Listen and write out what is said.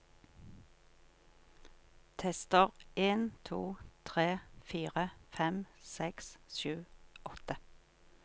Tester en to tre fire fem seks sju åtte